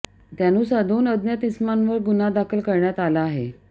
त्यानुसार दोन अज्ञात इसमांवर गुन्हा दाखल करण्यात आला आहे